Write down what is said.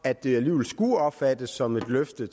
at det alligevel skulle opfattes som et løfte